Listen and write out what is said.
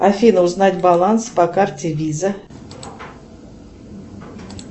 афина узнать баланс по карте виза